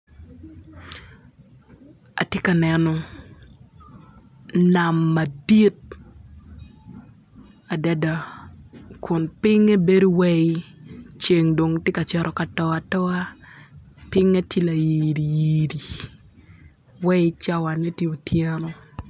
Ati ka neno nam madit adada kun pinye bedo wai ceng dong ti ka cito ka to atoa pinge tye layiri yiri wai cawane ti otyeno